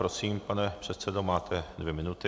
Prosím, pane předsedo, máte dvě minuty.